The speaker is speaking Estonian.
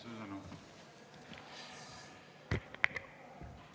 Suur tänu!